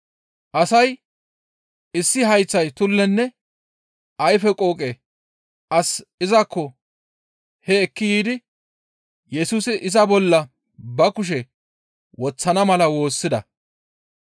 Asay issi hayththa tullenne doona duude as izakko hee ekki yiidi Yesusi iza bolla ba kushe woththana mala woossida.